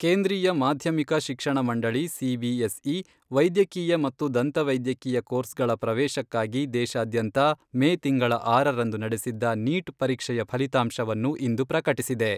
ಕೇಂದ್ರೀಯ ಮಾಧ್ಯಮಿಕ ಶಿಕ್ಷಣ ಮಂಡಳಿ ಸಿಬಿಎಸ್ಇ, ವೈದ್ಯಕೀಯ ಮತ್ತು ದಂತ ವೈದ್ಯಕೀಯ ಕೋರ್ಸ್ಗಳ ಪ್ರವೇಶಕ್ಕಾಗಿ ದೇಶಾದ್ಯಂತ ಮೇ ತಿಂಗಳ ಆರರಂದು ನಡೆಸಿದ್ದ ನೀಟ್ ಪರೀಕ್ಷೆಯ ಫಲಿತಾಂಶವನ್ನು ಇಂದು ಪ್ರಕಟಿಸಿದೆ.